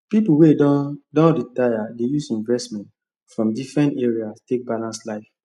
people wey don don retire dey use investment from different areas take balance life